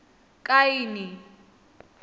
kaini